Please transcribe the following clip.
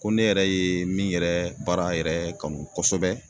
Ko ne yɛrɛ ye min yɛrɛ baara yɛrɛ kanu kosɛbɛ